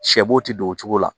Sɛ bo tɛ don o cogo la